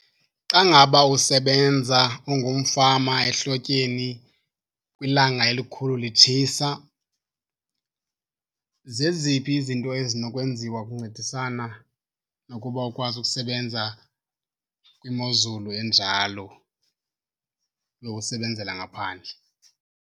Xa ngaba usebenza ungumfama ehlotyeni kwilanga elikhulu litshisa, zeziphi izinto ezinokwenziwa ukuncedisana nokuba ukwazi ukusebenza kwimozulu enjalo yokusebenzela ngaphandle?